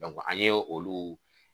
an ye olu.